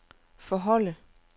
forholde